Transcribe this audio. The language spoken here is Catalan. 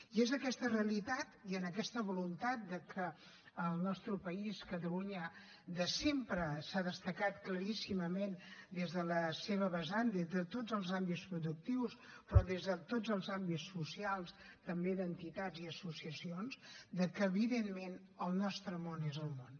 i és aquesta realitat i en aquesta voluntat que el nostre país catalunya de sempre s’ha destacat claríssimament des de la seva vessant des de tots els àmbits productius però des de tots els àmbits socials també d’entitats i associacions que evidentment el nostre món és el món